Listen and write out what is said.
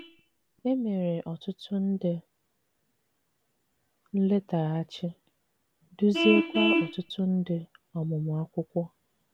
E mere ọtụtụ nde nletaghachi, duziekwa ọtụtụ nde ọmụmụ akwụkwo